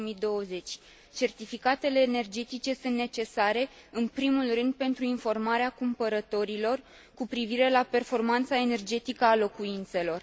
2020. Certificatele energetice sunt necesare în primul rând pentru informarea cumpărătorilor cu privire la performanța energetică a locuințelor.